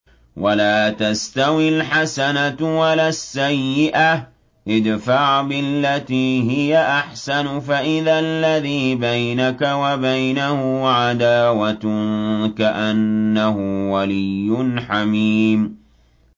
وَلَا تَسْتَوِي الْحَسَنَةُ وَلَا السَّيِّئَةُ ۚ ادْفَعْ بِالَّتِي هِيَ أَحْسَنُ فَإِذَا الَّذِي بَيْنَكَ وَبَيْنَهُ عَدَاوَةٌ كَأَنَّهُ وَلِيٌّ حَمِيمٌ